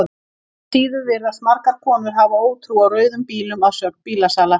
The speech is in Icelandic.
Engu að síður virðast margar konur hafa ótrú á rauðum bílum að sögn bílasala.